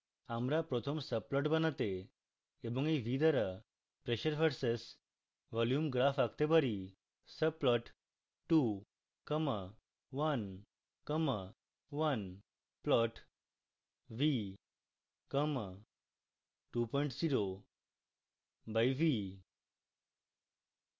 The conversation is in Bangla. আমরা প্রথম subplot বানাতে এবং we v দ্বারা pressure v/s volume graph আঁকতে পারি